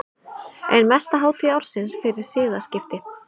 Ein mesta hátíð ársins fyrir siðaskipti.